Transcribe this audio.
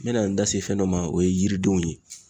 N mɛna n da se fɛn dɔ ma o ye yiridenw ye.